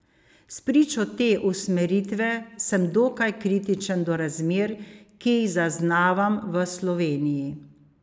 Spričo te usmeritve sem dokaj kritičen do razmer, ki jih zaznavam v Sloveniji.